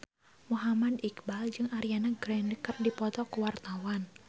Muhammad Iqbal jeung Ariana Grande keur dipoto ku wartawan